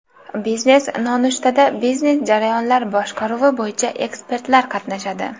Biznes nonushtada biznes jarayonlar boshqaruvi bo‘yicha ekspertlar qatnashadi.